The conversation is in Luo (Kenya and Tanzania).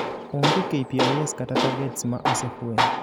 Onge KPIs kata targets ma osefweny